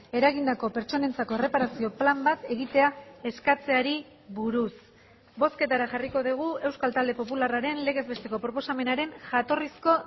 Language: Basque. eragindako pertsonentzako erreparazio plan bat egitea eskatzeari buruz bozketara jarriko dugu euskal talde popularraren legez besteko proposamenaren jatorrizko